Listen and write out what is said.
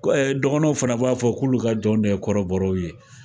Ko ɛɛ dɔgɔnɔw fana b'a fɔ k'olu ka jɔnw de ye kɔrɔbɔrɔw ye.